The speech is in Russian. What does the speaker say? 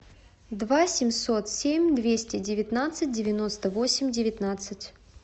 два семьсот семь двести девятнадцать девяносто восемь девятнадцать